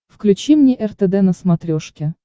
включи мне ртд на смотрешке